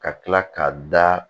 Ka kila k'a da